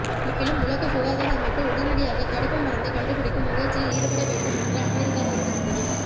மேலும் உலக சுகாதார அமைப்பு உடனடியாக தடுப்பு மருந்தை கண்டுபிடிக்கும் முயற்சியில் ஈடுபட வேண்டும் என்று அமெரிக்கா கெடு விதித்தது